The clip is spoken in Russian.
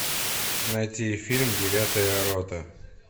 найти фильм девятая рота